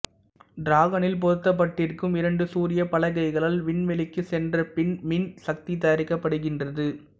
டிராகனில் பொருத்த்ப்பட்டிருக்கும் இரண்டு சூரிய பலகைகளால் வின்வெளிக்குச் சென்றபின் மின் சக்தி தயாரிக்கப்படுகின்றது